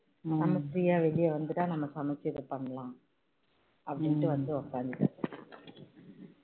நம்ம free யா வெளிய வந்துட்டா நம்ம சமைச்சி இதை பண்ணலாம் அப்படின்னு வந்து உட்கார்ந்துட்டேன்